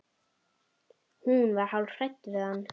Hún var hálf hrædd við hann.